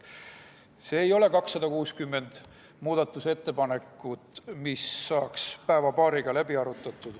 See ei ole 260 muudatusettepanekut, mille saaks päeva-paariga läbi arutada.